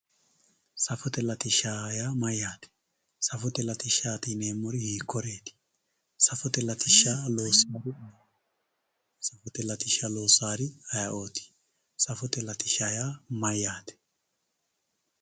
Safote latisha yaa mayate safote latishati yinemori hiikuriti safote latisha loosawori ayiooti safote latisha yaa mayaate?